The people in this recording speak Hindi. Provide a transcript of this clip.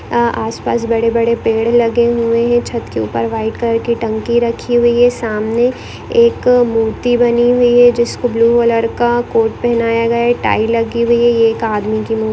आस पास बड़े बड़े पेड़ लगे हुए हैं छत के ऊपर वाइट कलर की टंकी रखी हुई हैं सामने एक मूर्ति बनी हुई हैं जिसको ब्लू कलर का कोट पहनाया गया है टाई लगी हुई हैं ये एक अदमी की मु --